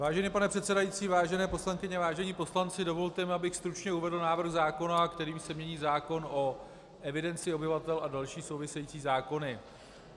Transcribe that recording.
Vážený pane předsedající, vážené poslankyně, vážení poslanci, dovolte mi, abych stručně uvedl návrh zákona, kterým se mění zákon o evidenci obyvatel a další související zákony.